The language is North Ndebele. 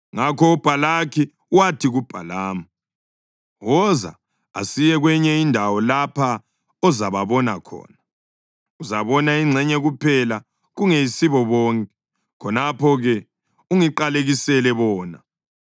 Ngakho uBhalaki wathi kuBhalamu, “Woza asiye kwenye indawo lapha ozababona khona; uzabona ingxenye kuphela kungeyisibo bonke. Khonapho-ke ungiqalekisele bona.”